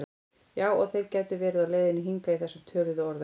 Já og þeir gætu verið á leiðinni hingað í þessum töluðu orðum